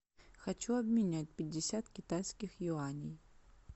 хочу обменять пятьдесят китайских юаней